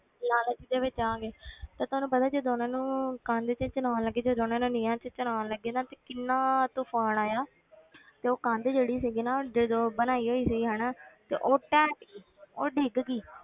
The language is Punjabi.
ਲਾਲਚ ਦੇ ਵਿੱਚ ਆ ਕੇ ਤੇ ਤੁਹਾਨੂੰ ਪਤਾ ਜਦੋਂ ਉਹਨਾਂ ਨੂੰ ਕੰਧ ਵਿੱਚ ਚਣਾਉਣ ਲੱਗੇ ਜਦੋਂ ਉਹਨਾਂ ਨੂੰ ਨੀਹਾਂ ਵਿੱਚ ਚਿਣਾਉਣ ਲੱਗੇ ਨਾ ਤੇ ਕਿੰਨਾ ਤੂਫ਼ਾਨ ਆਇਆ ਤੇ ਉਹ ਕੰਧ ਜਿਹੜੀ ਸੀਗੀ ਨਾ ਉਹ ਜਦੋਂ ਬਣਾਈ ਹੋਈ ਸੀ ਹਨਾ ਤੇ ਉਹ ਢਹਿ ਪਈ ਉਹ ਡਿੱਗ ਗਈ,